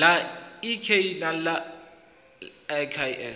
ḽa ik na iks la